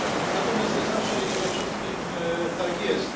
Natomiast nie zawsze i nie ze wszystkim tak jest.